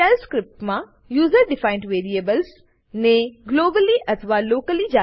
shell સ્ક્રીપ્ટમાં user defined variables ને globally અથવા લોકલી